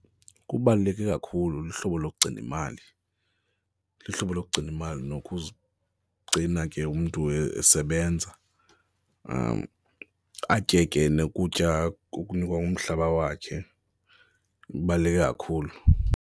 Kubaluleke kakhulu uhlobo lokugcina imali, luhlobo lokugcina imali nokuzigcina ke umntu esebenza, atye ke nokutya akunikwa ngumhlaba wakhe kubaluleke kakhulu.